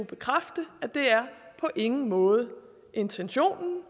bekræftet at det på ingen måde er intentionen